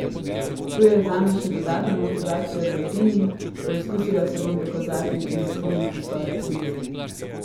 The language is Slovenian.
To je zame še dodatna motivacija za trening, poizkusila se bom dokazati in izpolniti svoje cilje.